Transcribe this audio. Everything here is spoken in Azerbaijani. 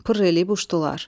Pır eləyib uçdular.